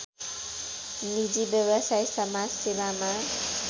निजी व्यवसाय समाजसेवामा